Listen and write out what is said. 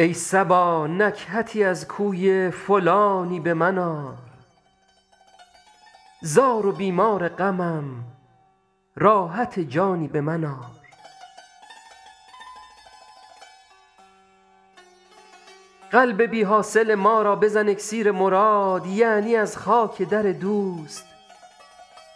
ای صبا نکهتی از کوی فلانی به من آر زار و بیمار غمم راحت جانی به من آر قلب بی حاصل ما را بزن اکسیر مراد یعنی از خاک در دوست